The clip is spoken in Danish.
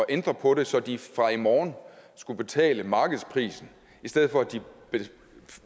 ændre på det så de fra i morgen skulle betale markedsprisen i stedet for at de